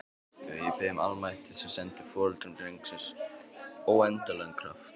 Og ég bið almættið að senda foreldrum drengsins óendanlegan kraft.